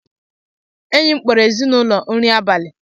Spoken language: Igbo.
enyi m kpọrọ ezinụlọ m nri abalị